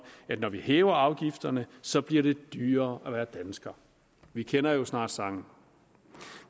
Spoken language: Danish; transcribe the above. det når vi hæver afgifterne så bliver dyrere at være dansker vi kender jo snart sangen